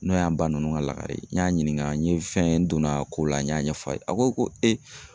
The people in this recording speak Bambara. N'o y'an ba nunnu ka lakare ye, n y'a ɲininka, n ye fɛn n donna a ko la n y'a ɲɛfɔ a ye a ko ko e